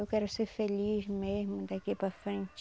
Eu quero ser feliz mesmo daqui para frente.